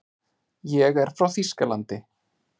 Ég er frá Þýskalandi.